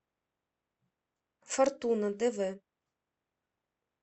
фортуна дв